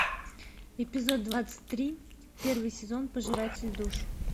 эпизод двадцать три первый сезон пожиратель душ